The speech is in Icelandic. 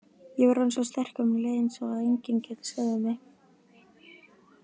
Ég var orðinn svo sterkur og mér leið eins og að enginn gæti stöðvað mig.